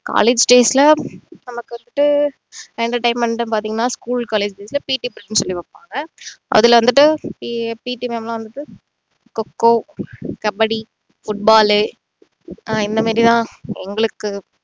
college days ல நமக்கு வந்துட்டு entertainment ன்னு பார்த்தீங்கன்னா school colleges ல PT period னு சொல்லி வைப்பாங்க அதுல வந்துட்டு அஹ் PT ma'am வந்துட்டு கொ-கொ கபடி football லு ஆஹ் இந்த மாதிரிலாம் எங்களுக்கு